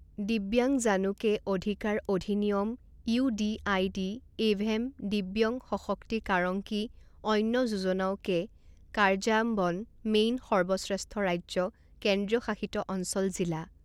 দিব্যাংজানো কে অধিকাৰ অধিনিয়ম ইউডিআইডি এভেম দিব্যং সশক্তিকাৰংকি অন্য যোজনাও কে কাৰ্যাম্বন মেইন সৰ্বশ্ৰেষ্ঠ ৰাজ্য কেন্দ্ৰীয় শাসিত অঞ্চল জিলা